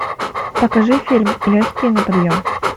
покажи фильм легкие на подъем